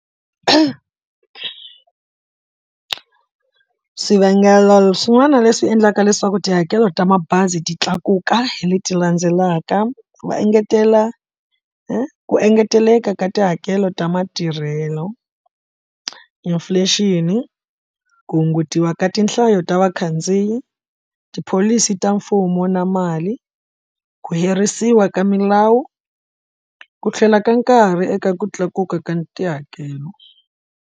Swivangelo swin'wana leswi endlaka leswaku tihakelo ta mabazi ti tlakuka hi leti landzelaka, va engetela i ku engeteleka ka tihakelo ta matirhelo inflation, ku hungutiwa ka tinhlayo ta vakhandziyi, tipholisi ta mfumo na mali, ku herisiwa ka milawu, ku tlhela ka nkarhi eka ku tlakuka ka tihakelo.